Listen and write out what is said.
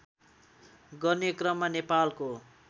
गर्ने क्रममा नेपालको